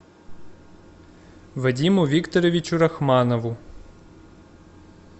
вадиму викторовичу рахманову